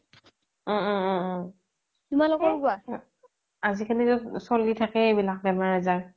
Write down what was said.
উম উম উম আজিকালিতো চ্লি থকেই এইবিলাক বেমাৰ আজাৰ